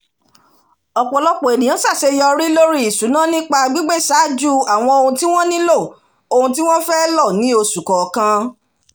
ọpọlọpọ ènìyàn ṣàṣeyọrí lórí ìṣúná nípa gbígbéṣájú àwọn ohun tí wọ́n nílò ohun tí wọ́n fẹ́ lọ ni oṣu kọọkan